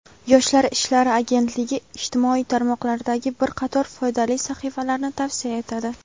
Yoshlar ishlari agentligi ijtimoiy tarmoqlardagi bir qator foydali sahifalarni tavsiya etadi.